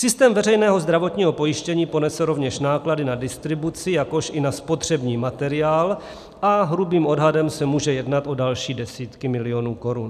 Systém veřejného zdravotního pojištění ponese rovněž náklady na distribuci, jakož i na spotřební materiál a hrubým odhadem se může jednat o další desítky milionů korun.